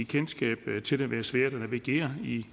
kendskab til det være svært at navigere i